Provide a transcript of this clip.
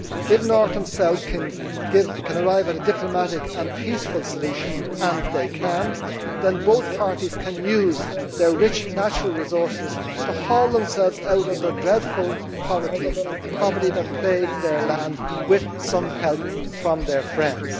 If North and South can arrive at a diplomatic and peaceful solution and they can then both parties can use their rich natural resources to haul themselves out of their dreadful poverty the poverty that plagues their land with some help from their friends.